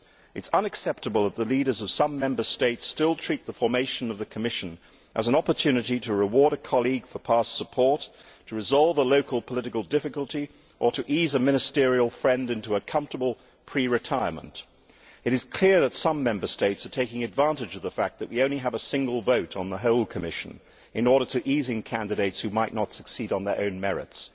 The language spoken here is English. It is unacceptable that the leaders of some Member States still treat the formation of the Commission as an opportunity to reward a colleague for past support, to resolve a local political difficulty or to ease a ministerial friend into a comfortable pre retirement. It is clear that some Member States are taking advantage of the fact that we only have a single vote on the whole Commission in order to ease in candidates who might not succeed on their own merits.